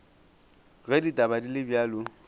ge ditaba di le bjalo